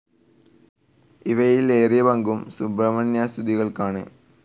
ഇവയിൽ ഏറിയ പങ്കും സുബ്രഹ്മണ്യസ്തുതികളാണ്.